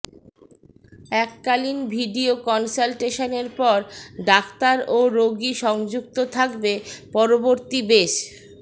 এককালীন ভিডিও কন্সাল্টেশনের পর ডাক্তার ও রোগী সংযুক্ত থাকবে পরবর্তী বেশ